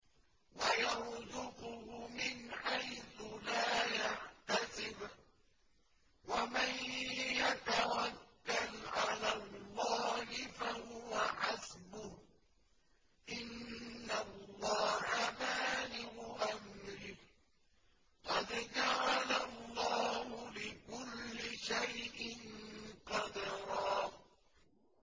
وَيَرْزُقْهُ مِنْ حَيْثُ لَا يَحْتَسِبُ ۚ وَمَن يَتَوَكَّلْ عَلَى اللَّهِ فَهُوَ حَسْبُهُ ۚ إِنَّ اللَّهَ بَالِغُ أَمْرِهِ ۚ قَدْ جَعَلَ اللَّهُ لِكُلِّ شَيْءٍ قَدْرًا